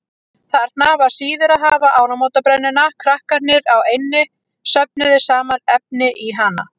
Þarna var siður að hafa áramótabrennuna, krakkarnir á eynni söfnuðu saman efni í hana.